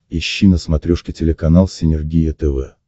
ищи на смотрешке телеканал синергия тв